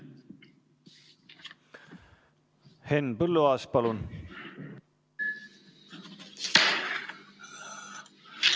Henn Põlluaas, palun!